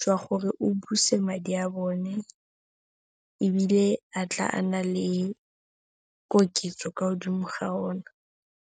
jwa gore o buse madi a bone ebile a tla a na le koketso kwa godimo ga ona.